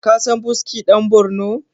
kasan buski dan Borno?